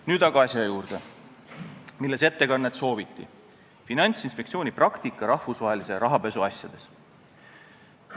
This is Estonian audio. Nüüd aga asja juurde, mille kohta ettekannet sooviti: Finantsinspektsiooni praktika rahvusvahelise rahapesu asjades.